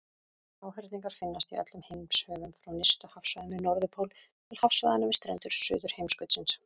Háhyrningar finnast í öllum heimshöfum, frá nyrstu hafsvæðunum við Norðurpól til hafsvæðanna við strendur Suðurheimskautsins.